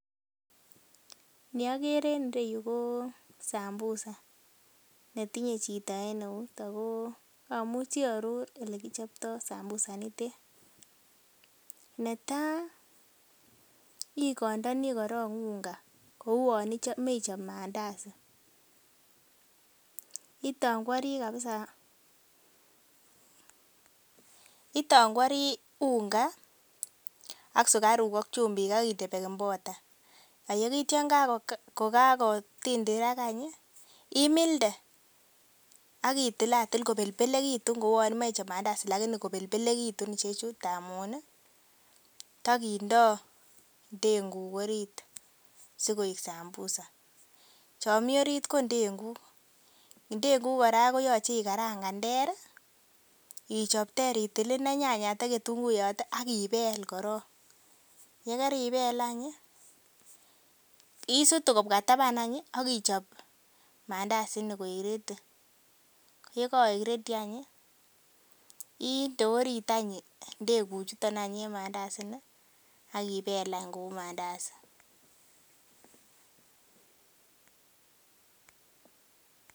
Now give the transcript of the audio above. Ni okere en ireyu ko sambusa netinye chito en eut ako amuchi aaror elekichoptoo sambusa initet. Netaa igondoni korong unga ko uon imoche ichop mandasi itongwori kabisa itongwori unga ak sukaruk ak chumbik ak inde baking powder ak itya yan kakotindirak any ih imilde ak itilatil kobelbelekitun kouon imoche ichop mandasi lakini kobelbelekitun ichechu amun tokindoo ndenguk orit sikoik sambusa chon mii orit ko ndenguk, ndenguk kora koyoche ikarangan ter ih ichob ter itil inei nyanyat ak ketunguyot ak ibel korong. Yekeribel any ih isutu kobwa taban any ih akichop mandasi ini koik ready ko ye koik ready any ih inde orit any ndenguk chuton en mandasi ini ak ibel any kou mandasi